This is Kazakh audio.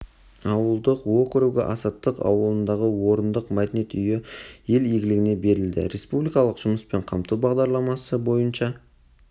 ауылдық округі азаттық ауылындағы орындық мәдениет үйі ел игілігіне берілді республикалық жұмыспен қамту бағдарламасы бойынша